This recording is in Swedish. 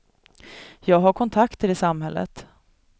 Jag har kontakter i samhället.